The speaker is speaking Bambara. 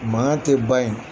Maa tɛ ban ye.